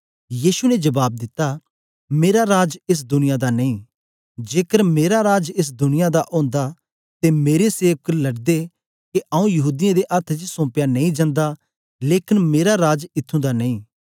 यीशु ने जबाब दिता मेरा राज एस दुनिया दा नेई जेकर मेरा राज एस दुनिया दा ओंदा ते मेरे सेवक लडदे के आऊँ यहूदीयें दे अथ्थ च सोंपया नेई जंदा लेकन मेरा राज इत्थूं दा नेई